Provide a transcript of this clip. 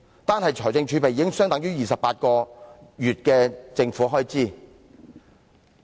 單是財政儲備，已相等於28個月的政府開支。